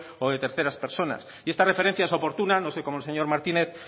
o de terceras personas y esta referencia es oportuna no sé cómo el señor martínez